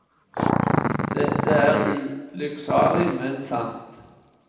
Dette er ulykksalig, men sant.